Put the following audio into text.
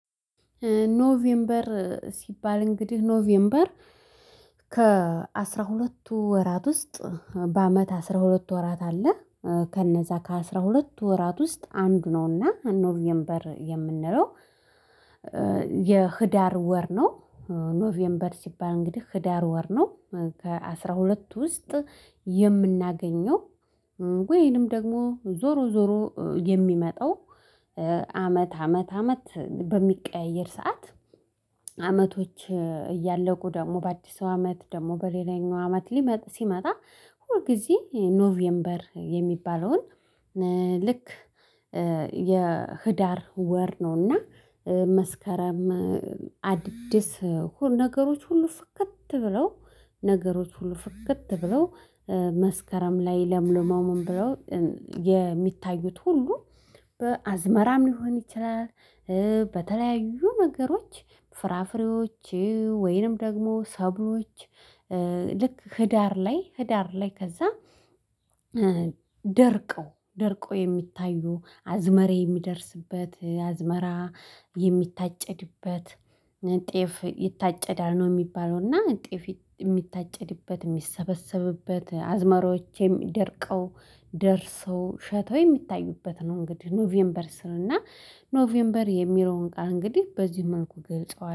ኖቬምበር ሲባል እንግዲህ ኖቬምበር ከአሥራ ሁለት ወራት ውስጥ በአመት አስራ ሁለት ወራት አለ ከነዛ ከአስራ ሁለት ወራት ውስጥ አንዱ ነውና ኖቬምበር የምንለው የህዳር ወር ነው። ኖቬምበር ሲባል እንግዲህ ህዳር ወር ነው። ከአሥራ ሁለት ውስጥ የምናገኘው ወይንም ደግሞ ዞሮ ዞሮ የሚመጣው አመት አመት አመት በሚቀያየር ሰዓት አመቶች እያለቁ ደግሞ በአዲስ አመት ደግሞ በሌላኛው አመት ሲመጣ ሁል ጊዜ ኖቬምበር የሚባለውን ልክ የህዳር ወር ነውና። መስከረም አዲስ ነገሮች ሁሉ ስክት ብለው ነገሮች ሁሉ ፍክት ብለው መስከረም ላይ ለምልመው ምን ብለው የሚታዩት ሁሉ በአዝመራም ሊሆን ይችላል። በተለያዩ ነገሮች ፍራፍሬዎች ወይንም ደግሞ ሰብሎች። ልክ ህዳር ላይ ህዳር ላይ ከዛ ደርቀው ደርቆ የሚታዩ አዝመራ የሚደርስበት አዝመራ የሚታጨድበት። ጤፍ ይታጨዳል ነው የሚባለው እና ጤፍ የሚታጨድበት የሚሰበሰብበት አዝመሮችም ደርቀው ደርሰው ሸተው የሚታዩበት ነው። እንግዲህ ኖቬምበር ስል እና ኖቬምበር የሚለውን ቃል እንግዲህ በዚህ መልኩ እገልጸዋለሁ